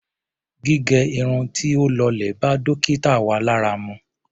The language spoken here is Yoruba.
Gígẹ irun tí ó lọlẹ̀ bá dókítà wa lára mu.